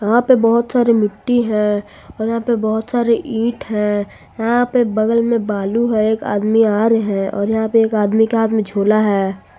यहां पे बहोत सारे मिट्टी है और यहां पे बहुत सारे ईट है यहां पे बगल में बालू है एक आदमी आ रहे और यहां पे एक आदमी के हाथ में झोला है।